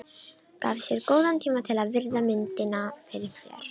Gaf sér góðan tíma til að virða myndina fyrir sér.